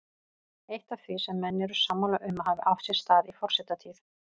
Eitt af því sem menn eru sammála um að hafi átt sér stað í forsetatíð